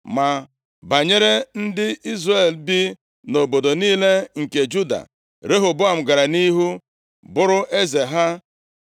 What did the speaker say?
Ma banyere ndị Izrel bi nʼobodo niile nke Juda, Rehoboam gara nʼihu bụrụ eze ha.